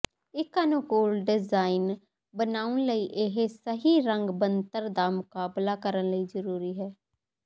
ਇਕ ਅਨੁਕੂਲ ਡਿਜ਼ਾਇਨ ਬਣਾਉਣ ਲਈ ਇਹ ਸਹੀ ਰੰਗ ਬਣਤਰ ਦਾ ਮੁਕਾਬਲਾ ਕਰਨ ਲਈ ਜ਼ਰੂਰੀ ਹੈ